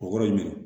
O kɔrɔ ye mun ye